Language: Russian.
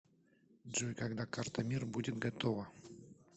джой когда карта мир будет готова